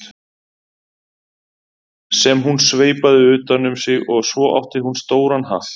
sem hún sveipaði utan um sig og svo átti hún stóran hatt.